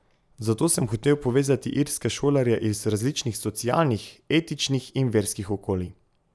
Zato sem hotel povezati irske šolarje iz različnih socialnih, etničnih in verskih okolij.